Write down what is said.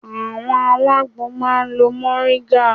Àwọn alágbo máa ń lo Mọ̀ríngà